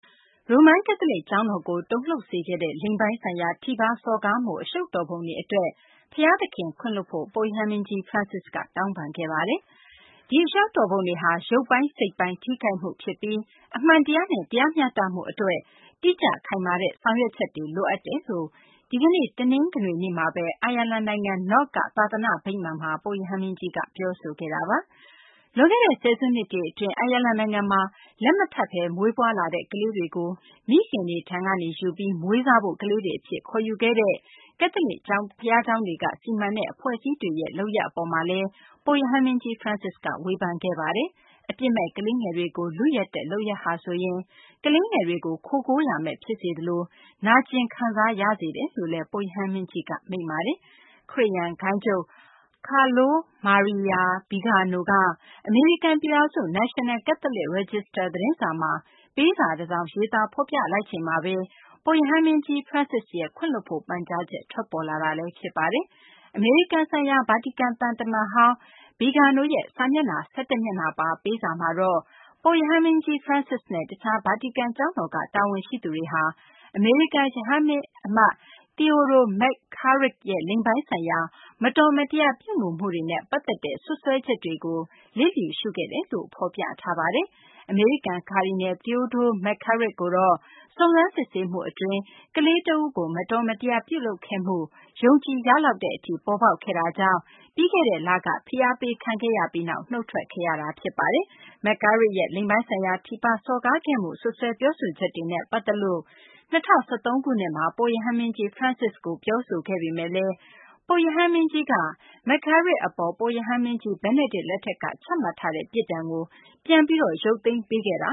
ရိုမန် ကက်သလစ် ကျောင်းတော်ကို တုန်လှုပ်စေခဲ့တဲ့ လိင်ပိုင်းဆိုင်ရာ ထိပါစော်ကားမှု အရှုပ်တော်ပုံတွေ အတွက် ဘုရားသခင် ခွင့်လွှတ်ဖို့ ပုပ်ရဟန်းမင်းကြီး Francis က တောင်းပန်ခဲ့ပါတယ်။ ဒီအရှုပ်တော်ပုံတွေဟာ ရုပ်ပိုင်း စိတ်ပိုင်းထိခိုက်မှုဖြစ်ပြီး အမှန်တရားနဲ့ တရားမျှတမှု အတွက် တိကျခိုင်မာတဲ့ ဆောင်ရွက်ချက်တွေ လိုအပ်တယ်လို့ ဒီကနေ့ တနင်္ဂနွေနေ့မှာဘဲ အိုင်ယာလန် နိုင်ငံ Knock က သာသနာ့ဗိမာန်မှာ ပုပ်ရဟန်းမင်းကြီးက ပြောဆိုခဲ့တာပါ။ လွန်ခဲ့တဲ့ ဆယ်စုနှစ်တွေ အတွင်း အိုင်ယာလန် နိုင်ငံမှာ လက်မထပ်ဘဲ မွေးဖွားလာတဲ့ ကလေးတွေကို မိခင်တွေထံကနေ ယူပြီး မွေးစားဖို့ ကလေးတွေ အဖြစ် ခေါ်ယူခဲ့တဲ့ ကက်သလစ် ဘုရားကျောင်းတွေက စီမံတဲ့ အဖွဲ့အစည်းတွေရဲ့ လုပ်ရပ် အပေါ်မှာလည်း ပုပ်ရဟန်းမင်းကြီး Francis က ဝေဖန်ခဲ့ပါတယ်။အပြစ်မဲ့ ကလေးငယ်တွေကို လုယက်တဲ့ လုပ်ရပ်ဟာဆိုရင် ကလေးတွေကို ခိုကိုးရာမဲ့ ဖြစ်စေသလို နာကျင်ခံစားရစေတယ်လို့လည်း ပုပ်ရဟန်းမင်းကြီးက မိန့်ကြားခဲ့ပါတယ်။ ခရစ်ယာန်ဂိုဏ်းချုပ် Carlo Maira Vigano က အမေရိကန် ပြည်ထောင်စု National Catholic Register သတင်းစာမှာ ပေးစာတစောင် ရေးသား ဖော်ပြလိုက်ချိန်မှာဘဲ ပုပ်ရဟန်း မင်းကြီး Francis ရဲ့ ခွင့်လွှတ်ဖို့ ပန်ကြားချက် ထွက်ပေါ်လာတာပါ။ အမေရိကန်ဆိုင်ရာ ဗာတီကန် သံတမန်ဟောင်း Vigano ရဲ့ စာမျက်နှာ ၁၁ မျက်နှာပါ ပေးစာမှာတော့ ပုပ်ရဟန်းမင်းကြီး Francis နဲ့ တခြား ဗာတီကန် ကျောင်းတော်က တာဝန်ရှိသူတွေဟာ အမေရိကန် ရဟန်းမင်းအမတ် Theodore McCarrick ရဲ့ လိင်ပိုင်းဆိုင်ရာ မတော်မတရားပြုမူမှုနဲ့ ပတ်သက်တဲ့ စွပ်စွဲချက်တွေကို လစ်လျူရှုခဲ့တယ်လို့ ဖော်ပြထားတာပါ။ အမေရိကန် ကာဒီနယ် Theodore McCarrick ကိုတော့ စုံစမ်းစစ်ဆေးမှု အတွင်း ကလေးတဦးကို မတော်မတရား ပြုလုပ်ခဲ့မှု ယုံကြည်ရလောက်တဲ့ အထိ ပေါ်ပေါက်ခဲ့တာကြောင့် ပြီးခဲ့တဲ့ လက ဖိအားပေး ခံခဲ့ရပြီးနောက် နုတ်ထွက်ခဲ့ရတာ ဖြစ်ပါတယ်။ McCarrick ရဲ့ လိင်ပိုင်းဆိုင်ရာ ထိပါးစော်ကားခဲ့မှု စွပ်စွဲပြောဆိုချက်တွေနဲ့ ပတ်သက်ပြီး ၂၀၁၃ ခုနှစ်မှာ ပုပ်ရဟန်းမင်းကြီး Francis ကို ပြောဆိုခဲ့ပေမယ့်လည်း ပုပ်ရဟန်းမင်းကြီးက McCarrick အပေါ် ပုပ်ရဟန်းမင်းကြီး Benedict ချမှတ်ထားတဲ့ ပြစ်ဒဏ်ကို ပြန်ပြီး ရုပ်သိမ်းပေးခဲ့တ